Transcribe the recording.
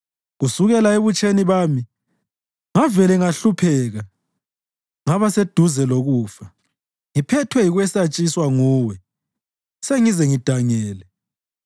Kusukela ebutsheni bami ngavele ngahlupheka ngaba seduze lokufa; ngiphethwe yikwesatshiswa nguwe, sengize ngidangele.